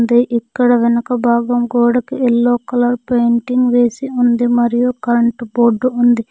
ఇక్కడ వెనుక భాగం గోడకి ఎల్లో కలర్ పెయింటింగ్ వేసి ఉంది. మరియు కరెంటు బోర్డు ఉంది.